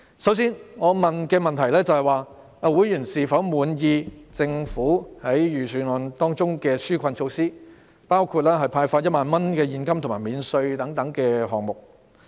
首先，我詢問的問題是，會員是否滿意政府在預算案中的紓困措施，包括派發1萬元現金和稅務寬減。